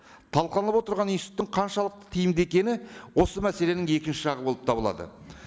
талқыланып отырған иснтитуттың қаншалықты тиімді екені осы мәселенің екінші жағы болып табылады